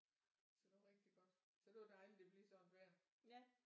Så det var rigtig godt så det var dejligt at det blev sådan et vejr